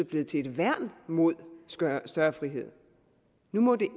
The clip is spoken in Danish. blevet til et værn mod større frihed nu må det